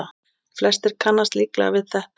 Flestir kannast líklega við þetta.